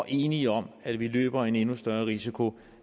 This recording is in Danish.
enige om at vi løber en endnu større risiko